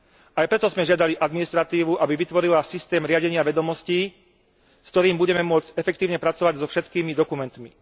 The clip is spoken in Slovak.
Aj preto sme žiadali administratívu, aby vytvorila systém riadenia vedomostí, s ktorým budeme môcť efektívne pracovať so všetkými dokumentmi.